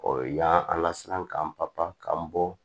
yan a la siran k'an papi bɔ